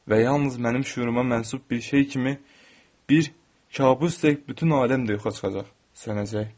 Və yalnız mənim şüuruma mənsup bir şey kimi bir kabus tək bütün aləm də yoxa çıxacaq, sönəcək.